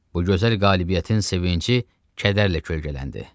Bu gözəl qələbətin sevinci kədərlə kölgələndi.